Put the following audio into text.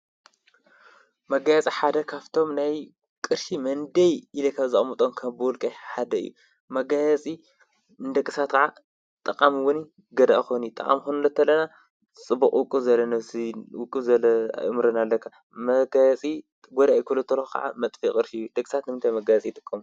መጋያፂ ሓደ ካፍቶም ናይ ቕርሺ መንደይ ኢለ ካብዛቅምጦም ካብ ብወልቀይ ሓደ እዩ። መጋየጺ ንደቂ ሳባት ኸዓ ጠቓም እውን ገዳኢ ክኾን እዩ። ጠቃም ክንብል ከለና ጽቡቕ ውቅብ ዝበለ ነብሲ ውቅብ ዝበለ እእምሮን ኣለካ። መጋየጺ ጐዳኢ ክብሎ ተለኩ ከዓ መጥፊ ቕርሽ እዩ። ደቂ ሰባት ንምንተይ መገያጺ ይጥቆሙ?